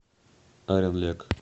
оренлек